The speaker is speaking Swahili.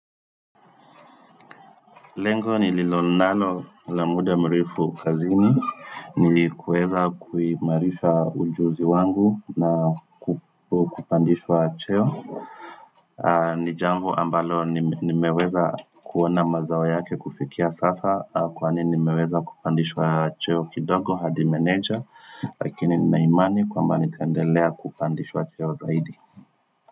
Lengo nililo nalo la muda mrefu kazini, ni kuweza kuimarisha ujuzi wangu na kupandishwa cheo. Ni jambo ambalo nimeweza kuona mazao yake kufikia sasa, kwani nimeweza kupandishwa cheo kidogo hadi meneja, lakini nina imani kwamba nitaendelea kupandishwa cheo zaidi.